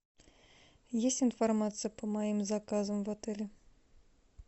есть информация по моим заказам в отеле